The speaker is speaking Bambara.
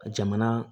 Jamana